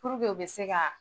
u bi se ka